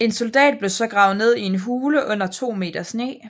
En soldat blev så gravet ned i en hule under to meter sne